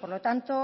por lo tanto